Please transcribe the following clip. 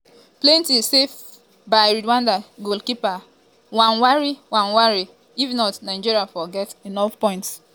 plenti save by rwanda goalkeeper ntwari ntwari if not nigeria for get enough point.